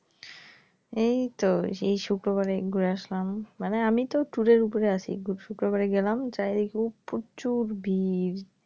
এইতো সেই শুক্রবারে ঘুরে আসলাম মানে আমিতো tour এর ওপরে আছি বুধ শুক্রবাড়ে গেলাম চারিদিকে প্রচুর ভিড়।